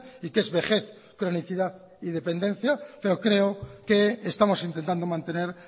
y qué es vejez cronicidad y dependencia pero creo que estamos intentando mantener